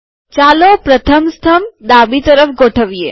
ચાલો પ્રથમ સ્તંભ ડાબી તરફ ગોઠવીએ